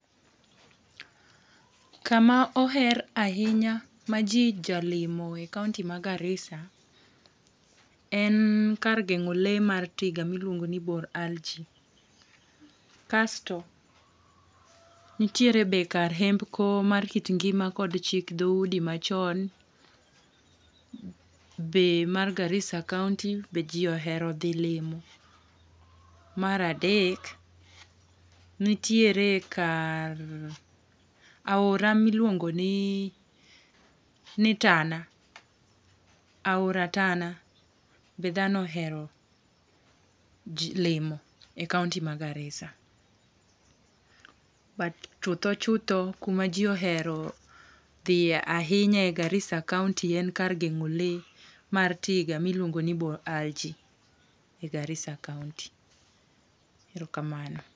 Kama oher ahinya ma ji jalimo e kaonti ma Garissa en kar geng'o lee mar tiga miluongoni Bor Al Ji. Kasto, nitiere be kar hembko mar kit ngima kod chik dhoudi machon, be mar Garissa kaonti be ji ohero dhi limo. Mar adek, nitiere kar aora miluongoni Tana . Aora Tana be dhano ohero limo e kaonti ma Garissa, but chutho chutho kuma ji ohero dhiye ahinya e Garissa kaonti en kar geng'o lee mar tiga ma iluongo ni Bor Al Ji e Garissa kaonti. Erokamano.